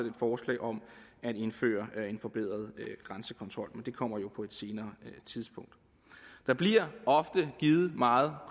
et forslag om at indføre en forbedret grænsekontrol men det kommer jo på et senere tidspunkt der bliver ofte givet meget